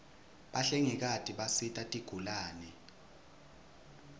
bahlengikati bisita tigulane